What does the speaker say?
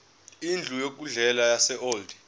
indlu yokudlela yaseold